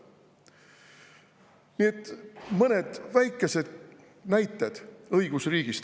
Nii et need olid mõned väikesed näited õigusriigist.